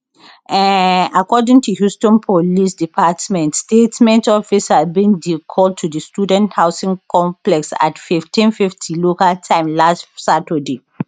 um according to houston police department statement officers bin dey called to di student housing complex at 1550 local time last saturday